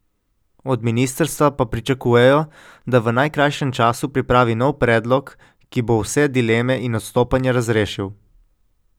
Od ministrstva pa pričakujejo, da v najkrajšem času pripravi nov predlog, ki bo vse dileme in odstopanja razrešil.